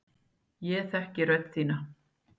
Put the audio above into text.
Ég þekki rödd þína.